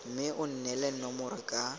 mme o neele nomoro ka